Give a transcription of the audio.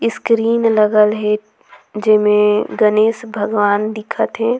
इसकीलील लगल हे जेमे गणेश भगवान दिखा थे।